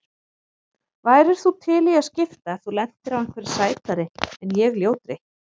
Værir þú til í að skipta ef þú lendir á einhverri sætri en ég ljótri?